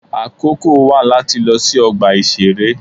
Àkókò wà láti lọ sí ọgbà ìṣeré.